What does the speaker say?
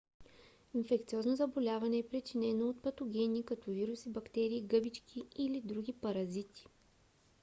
инфекциозно заболяване е причиненото от патогени като вируси бактерии гъбички или други паразити